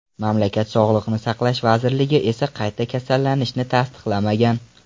Mamlakat Sog‘liqni saqlash vazirligi esa qayta kasallanishni tasdiqlamagan.